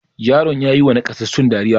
Yaran ya yiwa nakasassun dariya.